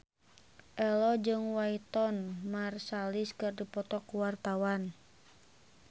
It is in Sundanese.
Ello jeung Wynton Marsalis keur dipoto ku wartawan